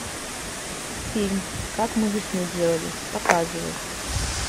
фильм как мы весну делали показывай